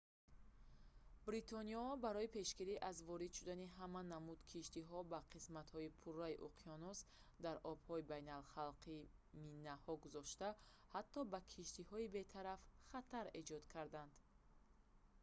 бритониё барои пешгирӣ аз ворид шудани ҳама намуд киштиҳо ба қисматҳои пурраи уқёнус дар обҳои байналхалқӣ минаҳо гузошта ҳатто ба киштиҳои бетараф хатар эҷод кард